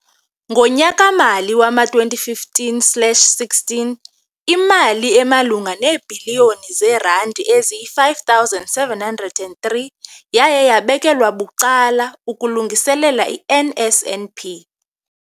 Ngonyaka-mali wama-2015, 16, imali emalunga neebhiliyoni zeerandi eziyi-5 703 yaye yabekelwa bucala ukulungiselela i-NSNP.